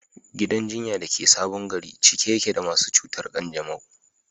Gidan jinya da ke Sabon Gari cike yake da masu cutar kanjamau.